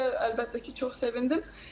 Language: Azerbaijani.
Mən də əlbəttə ki, çox sevindim.